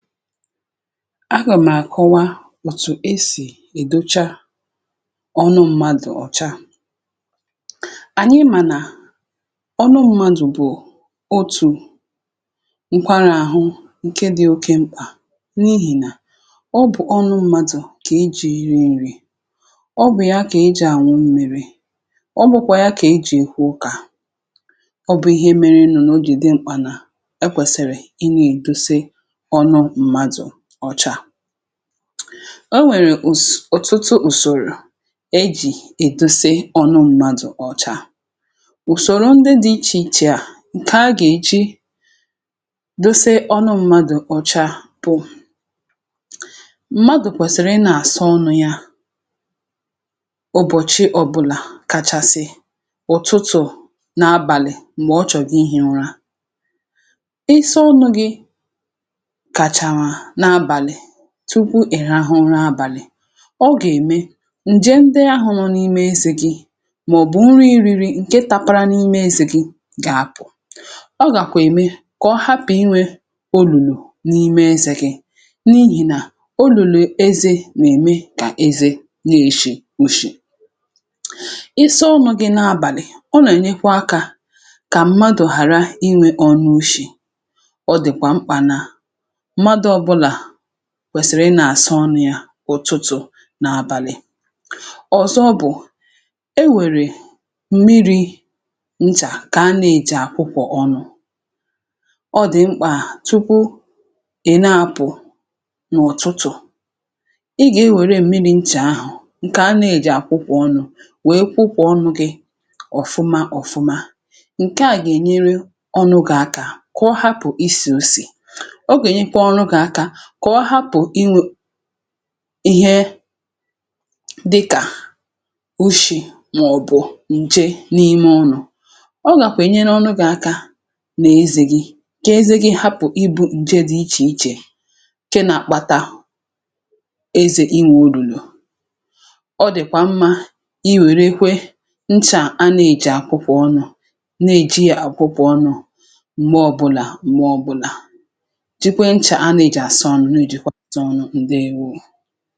agà m̀ àkọwa òtù esì èdocha ọnụ mmadù ọ̀chaà. ànyị mànà ọnụ mmadù bụ̀ otù ǹkwarȧ àhụ ǹke dị oke mkpà, n’ihìnà ọ bụ̀ ọnụ mmadù kà i ji iri nri̇; ọ bụ̀ ya kà i jì àṅụ m mèrè, ọ bụ̀kwà ya kà e jì èkwu ụkà. Ọ bụ̀ ihe mere nụ̀ nà o jì di mkpà, nà ekwèsị̀rị̀ o nwèrè ùs... òtụtụ ùsòrò e jì èduse ọnụ mmadụ̀ ọcha. ùsòrò ndị dị̇ ichè ichè a, ǹkẹ̀ a gà èji dosa ọnụ mmadụ̀ ọcha bụ̀: mmadụ̀ kwẹ̀sị̀rị̀ ị nà-àsọ ọnụ̇ ya ụbọ̀chị ọbụlà, um kachasị ụ̀tụtụ̀ n’abàlị̀. m̀gbè ọ chọ̀gị ihė ụra tukwu ị̀ra ahụrụ abàlị̀, ọ gà-ème ǹje ndị ahụrụ n’ime ezè gị; mà ọ̀ bụ̀ nri iri̇rì ǹke tȧpara n’ime ezè gị gà-àkpụ̀, ọ gàkwà ème kà ọ hapụ̀ inwė olùlù n’ime ezè gị, n’ihì nà olùlù eze nà-ème kà eze na-èshi ushì isi ọṅụ̇ gị n’abàlị̀. Ọ nà-ènyekwa akȧ kà mmadù hàra inwė ọṅụ̇ ushì. Kwèsìrì ị nà-àsa ọnụ̇ yȧ ụ̀tụtụ̀ n’abàlị̀. Ọ̀zọ bụ̀ e nwèrè m̀miri̇ nchà kà a nȧ-èji àkwụkwọ̀ ọnụ̇. ọ dị̀ mkpà tukwu, um ị̀ na-apụ̀ n’ụ̀tụtụ̀, ị gà-ewère m̀miri̇ nchà ahụ̀ ǹkè a nȧ-èji àkwụkwọ ọnụ̇ wèe kwụkwọ ọnụ̇ gị ọ̀fụma ọ̀fụma. ǹkè a gà-ènyere ọnụ̇ gị̀ akȧ kọ hapụ̀ isì òsì, kọ̀ọ hapụ̀ ịnwẹ̇ ihe dịkà o shì, nwàọ̀bụ̀ ǹje n’ime ọrụ̇. ọ gàkwènyere ọrụ gị̇ aka nà-ezè gị̇, kà eze gị hapụ̀ ịbụ̇ ǹje dị ichè ichè ke nà-àkpata ezè inwė o rùrù. ọ dị̀kwà mmȧ i wèrèekwe nchà a nà-èji àkwụkwọ ọnụ̇, na-èjià àkwụkwọ ọnụ̇ m̀gbè ọbụlà, m̀gbè ọbụlà. ǹdeèwo.